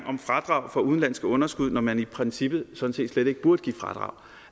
om fradrag for udenlandske underskud når man i princippet sådan set slet ikke burde give fradrag